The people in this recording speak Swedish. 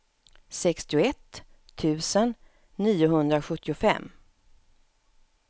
sextioett tusen niohundrasjuttiofem